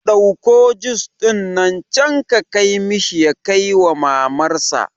Ɗauki jus ɗin can ka kai mishi ya kaiwa mamar sa